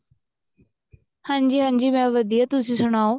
ਹਾਂਜੀ ਹਾਂਜੀ ਮੈਂ ਵਧੀਆ ਤੁਸੀਂ ਸਨਾਓ